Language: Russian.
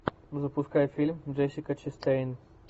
запускай фильм джессика честейн